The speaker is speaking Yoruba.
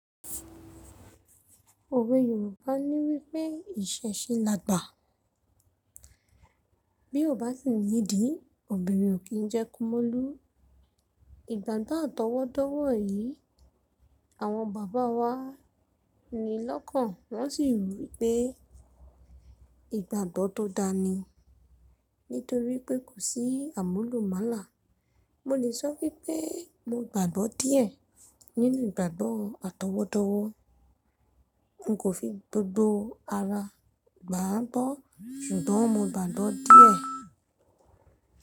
Òwe Yorùbá ní wípé ìṣeṣe lágbà. Bí ó bá si nídìí, obìnrin ò kí ń jẹ́ kí kumolú. Ìgbàgbọ́ àtọwọ́dọ́wọ́ yìí, àwọn bàbá wa ni lọ́kàn wọ́n sì rí i pé ìgbàgbọ́ tó dáa ni nítorí pé kò sí àmúlùmálà. Mo lè sọ wípé mo gbàgbọ́ díẹ̀ nínú ìgbàgbọ́ àtọwọ́dọ́wọ́. N kò fi gbogbo ara gbà á gbọ́, ṣùgbọ́n mo gbàgbọ́ díẹ̀.